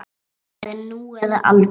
Það er nú eða aldrei.